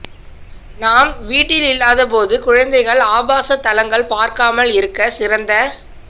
நாம் வீட்டில் இல்லாத போது குழந்தைகள் ஆபாச தளங்கள் பார்க்காமல் இருக்க சிறந்த